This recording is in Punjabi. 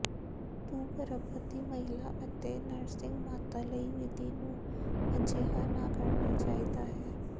ਤੂੰ ਗਰਭਵਤੀ ਮਹਿਲਾ ਅਤੇ ਨਰਸਿੰਗ ਮਾਤਾ ਲਈ ਵਿਧੀ ਨੂੰ ਅਜਿਹਾ ਨਾ ਕਰਨਾ ਚਾਹੀਦਾ ਹੈ